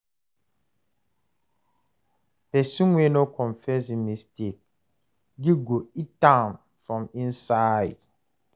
Pesin wey no confess im mistake, guilt go eat am from inside.